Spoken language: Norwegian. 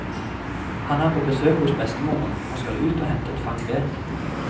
Han er på besøk hos bestemoren og skal ut og hente et fang ved.